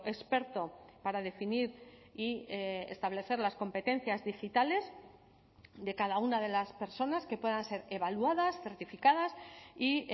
experto para definir y establecer las competencias digitales de cada una de las personas que puedan ser evaluadas certificadas y